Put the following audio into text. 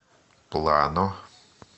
плано